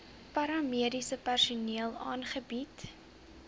paramediese personeel aangebied